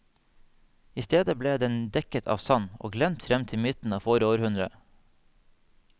I stedet ble den dekket av sand og glemt frem til midten av forrige århundre.